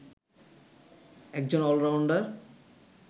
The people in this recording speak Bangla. একজন অলরাউন্ডার